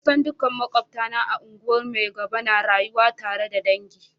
Kusan dukkan makwabtana a unguwan Maigabo na rayuwa tare da dangi.